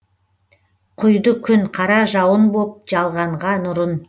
құйды күн қара жауын боп жалғанға нұрын